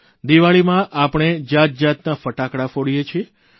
દીવાળીમાં આપણે જાતજાતના ફટાકડા ફોડીએ છીએ